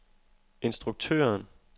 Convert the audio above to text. instruktøren